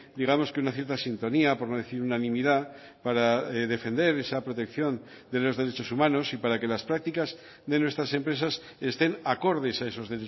digamos que una cierta sintonía por no decir unanimidad para defender esa protección de los derechos humanos y para que las prácticas de nuestras empresas estén acordes a esos